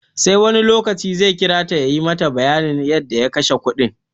Sai wani lokaci zai kira ta ya yi mata bayanin yadda ya kashe kudin.